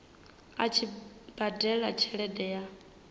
a tshi badela tshelede ya